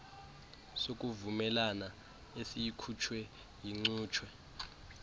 sokuvumelana esikhutshwe yincutshe